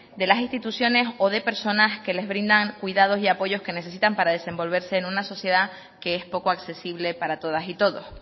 de las instituciones o de las personas que les brindan cuidados y apoyos que necesitan para desenvolverse en una sociedad que es poco accesible para todas y todos